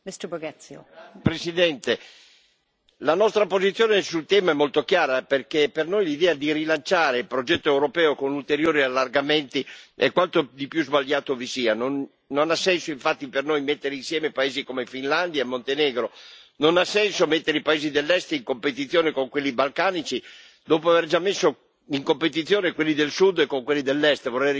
Signora Presidente, onorevoli colleghi, la nostra posizione sul tema è molto chiara, perché per noi l'idea di rilanciare il progetto europeo con ulteriori allargamenti è quanto di più sbagliato vi sia. Non ha senso infatti per noi mettere insieme paesi come Finlandia e Montenegro, non ha senso mettere i paesi dell'Est in competizione con quelli balcanici, dopo aver già messo in competizione quelli del Sud con quelli dell'Est.